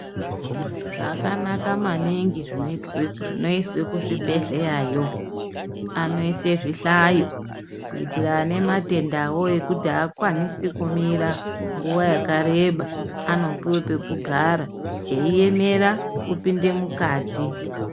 Zvakanaka maningi zvino izwe ku zvibhedhleya yo anoise zvihlayo kuitira ane matendawo ekuti akwanisi kumira nguva yakareba ano puwe pekugara eyi emera kupinde mukati.